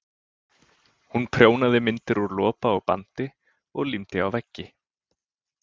Hún prjónaði myndir úr lopa og bandi og límdi á veggi.